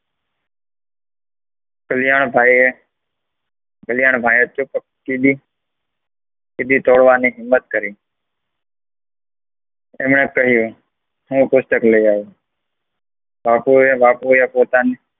કલ્યાણભાઈ એ કલ્યાણભાઈ થોડી કેહવાની હિમ્મત કરી એમણે કહ્યુ હું પુસ્તક લેવા આવું, બાપુએ પોતાની